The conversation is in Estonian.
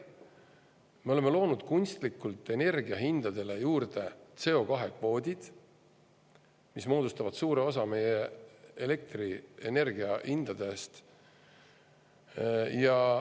Me oleme loonud kunstlikult energiahindadele juurde CO2-kvoodid, mis moodustavad suure osa meie elektrienergiahindadest.